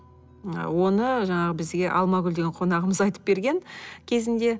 ы оны жаңағы бізге алмагүл деген қонағымыз айтып берген кезінде